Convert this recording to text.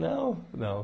Não, não.